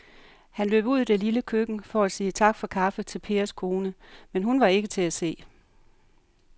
Han løb ud i det lille køkken for at sige tak for kaffe til Pers kone, men hun var ikke til at se.